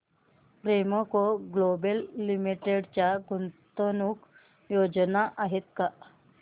Premco Global Limited च्या गुंतवणूक योजना आहेत का